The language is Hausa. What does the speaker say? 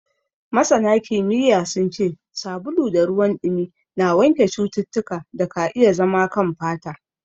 Scientifically, soap and water wash germs from the skin.